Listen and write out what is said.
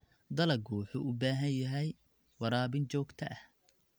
Dalaggu wuxuu u baahan yahay waraabin joogto ah.